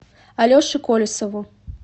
алеше колесову